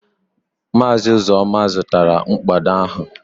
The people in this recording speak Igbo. Maazị Uzoma zụtara mkpado ahụ